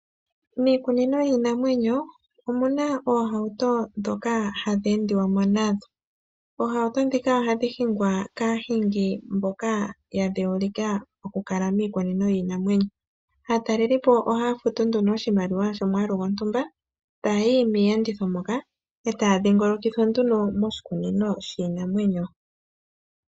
Miikunino yiinamwenyo omuna oohauto ndhoka hadhi endiwa mo nadho. Oohauto ndhika ohadhi hingwa kaahingi mboka ya dheulika okukala miikunino yiinamwenyo. Aataleli ohaya futu nduno oshimaliwa shomwaalu gontumba. Eta yayi miiyenditho moka eta ya dhingolokithwa nduno moshikunino shiinamwenyo.